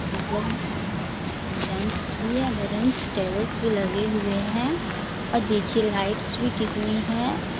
मतलब बेंच भी है बेंच टेबल भी लगे हुए हैं। अ देखिये लाइट्स भी कितनी है।